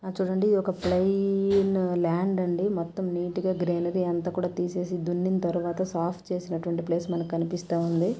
అటు చూడండి ఒక ప్లెయిన్ ల్యాండ్ ఉంది మొత్తం నీట్ గా గ్రీనరీ అంతా కూడా తీసేసి దున్నిం తర్వాత సాఫ్ట్ చేసినటువంటి ప్లేస్ మనకు కన్పిస్తా ఉంది.